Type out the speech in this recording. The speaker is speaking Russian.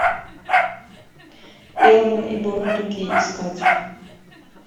элвин и бурундуки искать